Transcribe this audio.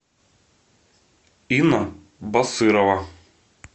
инна басырова